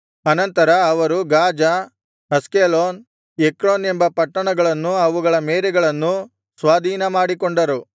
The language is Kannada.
ಅನಂತರ ಅವರು ಗಾಜಾ ಅಷ್ಕೆಲೋನ್ ಎಕ್ರೋನ್ ಎಂಬ ಪಟ್ಟಣಗಳನ್ನೂ ಅವುಗಳ ಮೇರೆಗಳನ್ನೂ ಸ್ವಾಧೀನಮಾಡಿಕೊಂಡರು